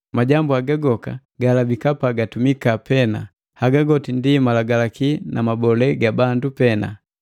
Majambu haga goka gaalabika pagatumika pena, haga goti ndi malagalaki na mabole ga bandu pena.